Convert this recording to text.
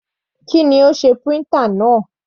Kí ni ó sé printer náà?